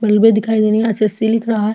बलबे दिखाई दे रही है एस. एस. सी. लिख रहा है।